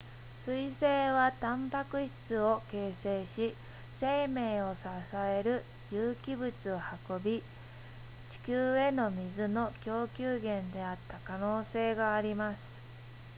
彗星はタンパク質を形成し生命を支える有機物を運び地球への水の供給源であった可能性があります